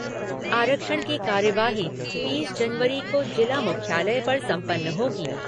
आरक्षण की कार्यवाही तीस जनवरी को जिला मुख्यालय पर संपन्न होगी।